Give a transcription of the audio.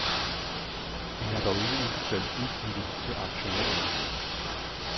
De har dog ikke udbetalt udbytte til aktionærerne.